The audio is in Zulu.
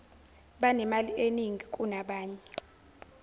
banemali eningi kunabanye